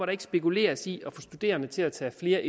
ikke spekuleres i at få studerende til at tage flere